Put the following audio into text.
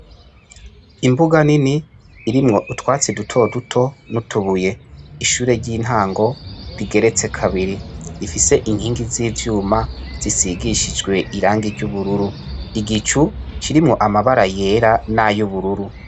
Imbuga nini irimwo utwatsi duto duto n'utubuye ishure ry'intango rigeretse kabiri rifise inkingi z'ivyuma zisigishijwe irangi ry'ubururu igicu kirimwo amabara yera n'ayubururu.